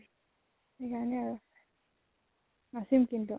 সেই কাৰণে আৰু। নাচিম কিন্তু।